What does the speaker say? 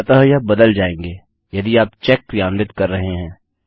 अतः यह बदल जाएँगे यदि आप चेक क्रियान्वित कर रहे हैं